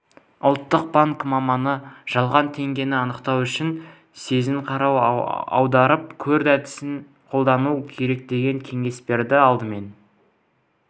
ұлттық банк маманы жалған теңгені анықтау үшін сезін-қара-аударып көр әдісін қолдану керек деген кеңес берді алдымен